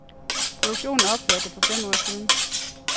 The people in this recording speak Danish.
Produktionen ophørte for fem år siden.